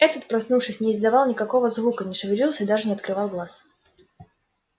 этот проснувшись не издавал никакого звука не шевелился и даже не открывал глаз